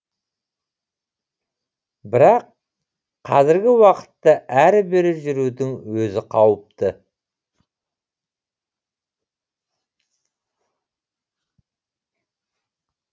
бірақ қазіргі уақытта әрі бері жүрудің өзі қауіпті